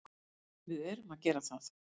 Við erum að gera það.